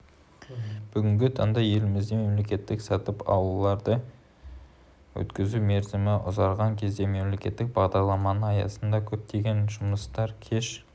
бүгінгі таңда елімізде мемлекеттік сатып алуларды өткізу мерзімі ұзарған кезде мемлекеттік бағдарламалар аясындағы көптеген жұмыстар кеш